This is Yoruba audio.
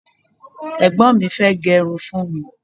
egbon mi fee gerun fún mi